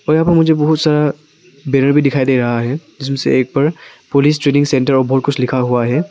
और यहां पर मुझे बहुत सारा बैरियर भी दिखाई दे रहा है जिसमें से एक पर पुलिस ट्रेनिंग सेंटर और बहुत कुछ लिखा हुआ है।